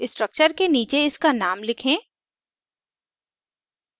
structure के नीचे इसका name लिखें